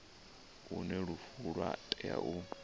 hune lufu lwa tea u